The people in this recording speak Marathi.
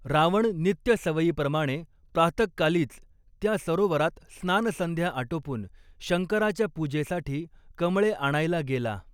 रावण नित्य सवयीप्रमाणे प्रातःकालीच त्या सरोवरात स्नानसंध्या आटोपून शंकराच्या पूजेसाठी कमळे आणायला गेला.